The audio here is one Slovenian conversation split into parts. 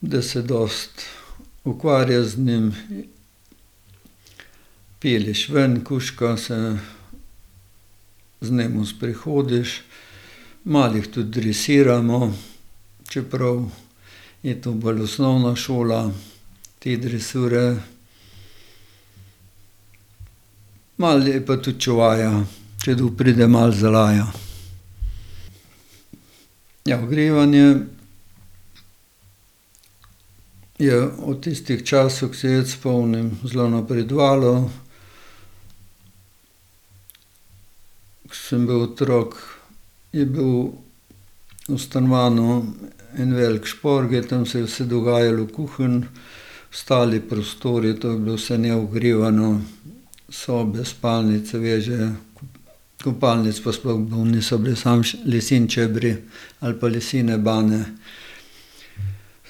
da se dosti ukvarjaš z njim, pelješ ven kužka, se z njim sprehodiš. Malo jih tudi dresiramo, čeprav je to bolj osnovna šola te dresure. Malo je pa tudi čuvaja. Če kdo pride, malo zalaja. Ja, ogrevanje je od tistih časov, ko se jaz spomnim, zelo napredovalo. Ke sem bil otrok, je bil v stanovanju en velik šporget, tam se je vse dogajalo v kuhinji. Ostali prostori, to je bilo vse neogrevano. Sobe, spalnice, veže. Kopalnic pa sploh bilo ni, so bili samo leseni čebri ali pa lesene banje.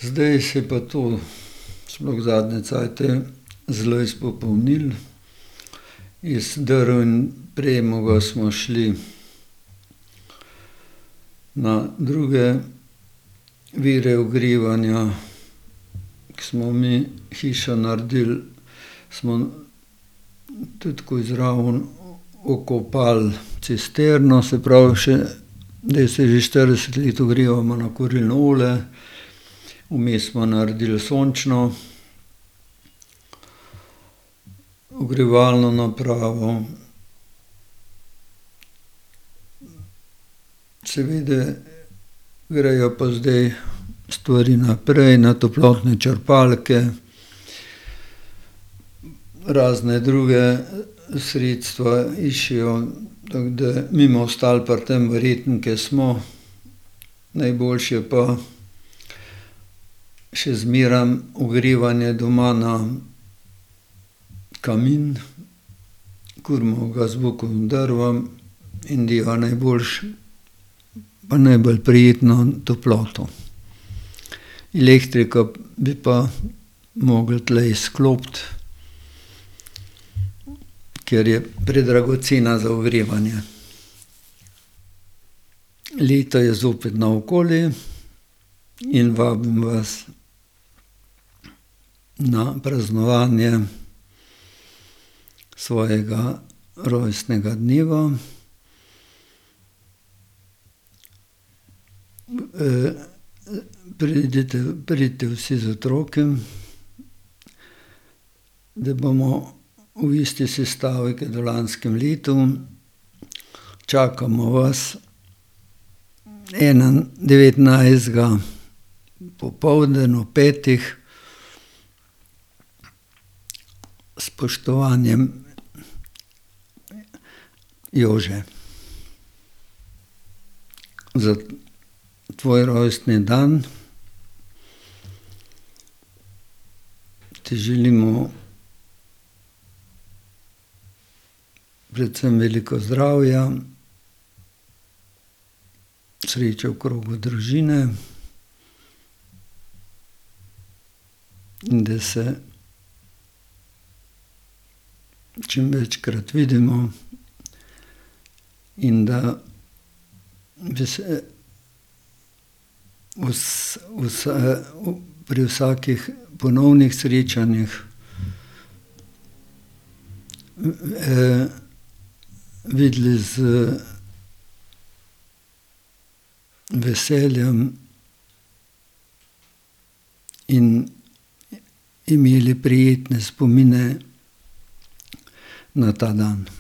Zdaj se je pa to, sploh zadnje cajte zelo izpopolnilo. Iz drv in premoga smo šli na druge vire ogrevanja. Ke smo mi hišo naredili, smo tudi takoj zraven okopali cisterno, se pravi še, zdaj se že štirideset let ogrevamo na kurilno olje. Vmes smo naredili sončno ogrevalno napravo. Seveda grejo pa zdaj stvari naprej, na toplotne črpalke, razna druga sredstva iščejo, tako da mi bomo ostali pri tem verjetno, ke smo, najboljše je pa še zmeraj ogrevanje doma na kamin. Kurimo ga z bukovimi drvmi in deva najboljšo pa najbolj prijetno toploto. Elektriko bi pa mogli tule izklopiti, ker je predragocena za ogrevanje. Leto je zopet naokoli in vabim vas na praznovanje svojega rojstnega dneva. pridite, pridite vsi z otroki, da bomo v isti sestavi kot v lanskem letu. Čakamo vas ena devetnajstega popoldan ob petih. S spoštovanjem. Jože. Za tvoj rojstni dan ti želimo predvsem veliko zdravja, sreče v krogu družine in da se čim večkrat vidimo in da bi se pri vsakih ponovnih srečanjih, videli z veseljem in imeli prijetne spomine na ta dan.